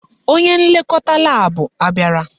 Onye nlekọta laabụ abịara?